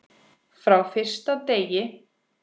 Frá fyrsta degi.